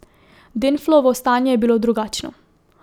Denflovo stanje je bilo drugačno.